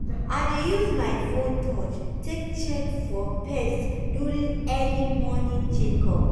i dey use my phone touch take check for pest during early morning check up.